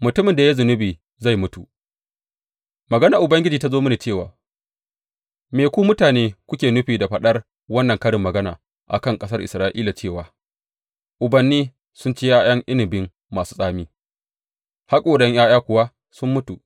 Mutumin da ya yi zunubi zai mutu Maganar Ubangiji ta zo mini cewa, Me ku mutane kuke nufi da faɗar wannan karin magana a kan ƙasar Isra’ila cewa, Ubanni sun ci ’ya’yan inabi masu tsami, haƙoran ’ya’ya kuwa sun mutu’?